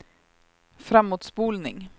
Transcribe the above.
framåtspolning